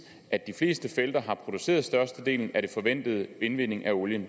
at de fleste felter har produceret størstedelen af den forventede indvinding af olien